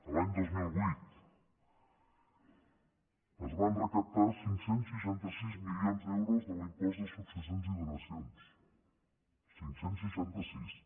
l’any dos mil vuit es van recaptar cinc cents i seixanta sis milions d’euros de l’impost de successions i donacions cinc cents i seixanta sis